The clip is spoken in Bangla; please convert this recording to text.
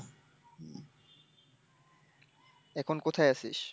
এখন কোথায় আছিস?